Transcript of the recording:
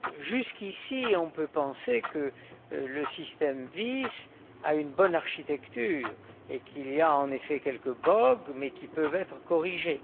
Jusqu'ici, on peut penser que le système VIS a une bonne architecture et qu'il y a, en effet, quelques bogues, mais qui peuvent être corrigés.